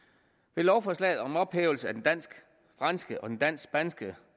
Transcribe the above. med lovforslaget om ophævelse af den dansk franske og den dansk spanske